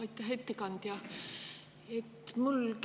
Aitäh, ettekandja!